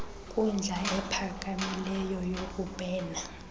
nkundla iphakamileyo yokubhena